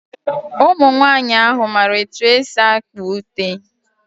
Ụmụnwaanyị ahụ mara etu esi akpa ute.